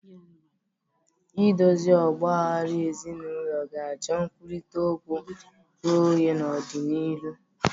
Idozi ọgba aghara ezinụlọ ga-achọ nkwurịta okwu ghe ọghe n'ọdịnihu.